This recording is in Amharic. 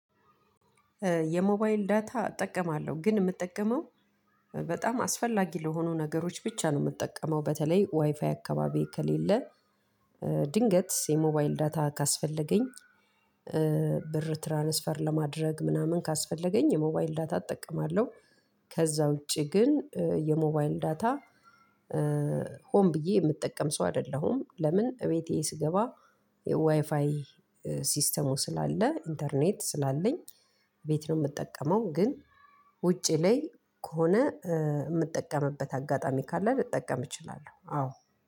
የሞባይል ዳታ እጠቀማለሁ ግን የምጠቀመው በጣም አስፈላጊ ለሆኑ ነገሮች ብቻ ነው የምትጠቀመው በተለይ ዋይፋይ አካባቢ ከሌለ ድንገት የሞባይል ዳታ ካስፈለገኝ ብር ትራንስፈር ለማድረግ ምናምን ካስፈለገኝ የመዋይል ዳታ እጠቀማለሁ። ከዛ ውጪ ግን የሞባይል ዳታ ሆን ብዬ የምጠቀም ሰው አይደለሁም። ለምን እቤቴ ስገባ የዋይፋይ ሲስተሙ ስላለ ኢንተርኔት ስላለኝ ቤት ነው የምጠቀመው ግን ውጪ ላይ ከሆነ የምጠቀምበት አጋጣሚ ካለ ልጠቀም እችላለሁ። አዎ